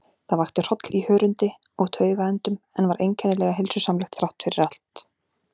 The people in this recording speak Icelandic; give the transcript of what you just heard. Það vakti hroll í hörundi og taugaendum, en var einkennilega heilsusamlegt þráttfyrir allt.